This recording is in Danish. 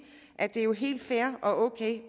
at det jo er helt fair og ok